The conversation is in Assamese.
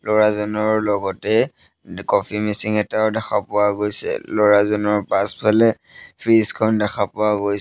ল'ৰাজনৰ লগতে কফি মেচিং এটাও দেখা পোৱা গৈছে ল'ৰাজনৰ পাছফালে ফ্ৰিজ খন দেখা পোৱা গৈছে।